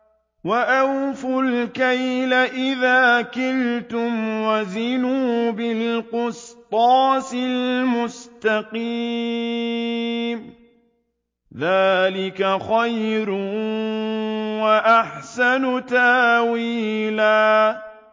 وَأَوْفُوا الْكَيْلَ إِذَا كِلْتُمْ وَزِنُوا بِالْقِسْطَاسِ الْمُسْتَقِيمِ ۚ ذَٰلِكَ خَيْرٌ وَأَحْسَنُ تَأْوِيلًا